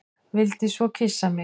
Vildi svo kyssa mig.